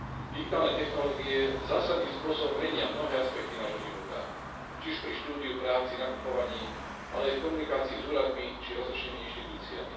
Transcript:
Digitálne technológie zásadným spôsobom menia mnohé aspekty nášho života či už pri štúdiu, práci, nakupovaní, ale aj v komunikácii s úradmi či rozličnými inštitúciami.